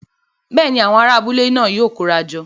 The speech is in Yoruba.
Bẹ́ẹ̀ni, awọn ará abúlé náà yóò kóra jọ